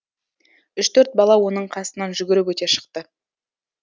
үш төрт бала оның қасынан жүгіріп өте шықты